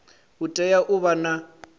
u tea u vha na